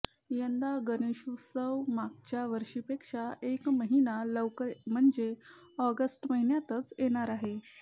यंदा गणेशोत्सव मागच्या वर्षीपेक्षा एक महिना लवकर म्हणजे ऑगस्ट महिन्यातच येणार आहे